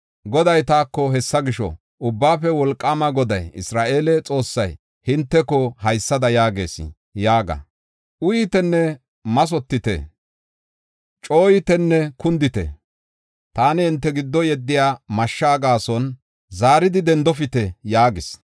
Goday taako, “Hessa gisho, ‘Ubbaafe Wolqaama Goday, Isra7eele Xoossay hinteko haysada yaagees’ yaaga. ‘Uyitenne mathotite; cooyitenne kundite. Taani hinte giddo yeddiya mashshaa gaason zaaridi dendofite’ yaagis.